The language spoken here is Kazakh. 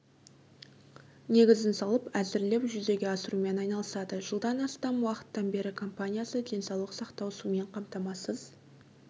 негізін салып әзірлеп жүзеге асырумен айналысады жылдан астам уақыттан бері компаниясы денсаулық сақтау сумен қамтамасыз